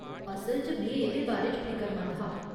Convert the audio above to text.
असल च, में एह्दे बारे च फिकरमंद हा।